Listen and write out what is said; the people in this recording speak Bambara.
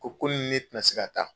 Ko k'e ni ne tɛna se ka taa